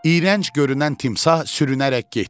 İyrənc görünən timsah sürünərək getdi.